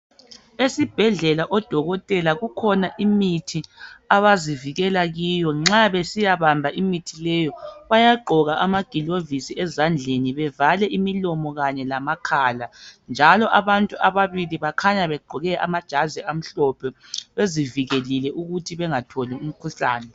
Esibhedlela odokotela kukhona imithi abazivikela kiyo, nxa besiyabamba imithi leyo bayagqoka amagilovisi ezandleni bevale imilomo kanye lamakhala njalo abantu ababili bakhanya begqoke amajazi amhlophe bezivikelile ukuthi bangatholi umkhuhlane.